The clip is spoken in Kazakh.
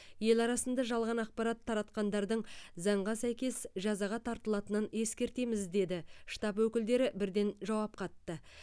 ел арасында жалған ақпарат таратқандардың заңға сәйкес жазаға тартылатынын ескертеміз деді штаб өкілдері бірден жауап қатты